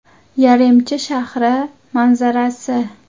Yaremchi shahri manzarasi.